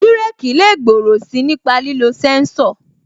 Bireki lè gbòòrò si nípa lílo sẹ́ńsọ̀